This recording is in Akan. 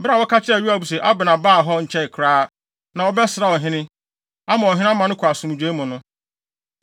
Bere a wɔka kyerɛɛ Yoab se Abner baa hɔ nkyɛe koraa, na ɔbɛsraa ɔhene, ama ɔhene ama no kɔ asomdwoe mu no,